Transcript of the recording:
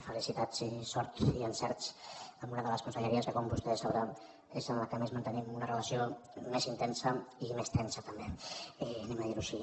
felicitats i sort i encerts en una de les conselleries que com vostè deu saber és amb la que més mantenim una relació més intensa i més tensa també ho direm així